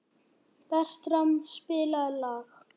Bertram, spilaðu lag.